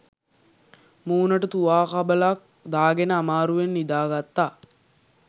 මූණට තුවා කබලක් දාගෙන අමාරුවෙන් නිදාගත්තා.